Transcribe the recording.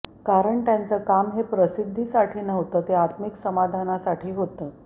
कारण त्यांचं काम हे प्रसिद्धीसाठी नव्हतं ते आत्मिक समाधानासाठी होतं